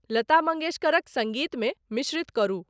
लता मंगेश्करक संगीतमे मिश्रित करू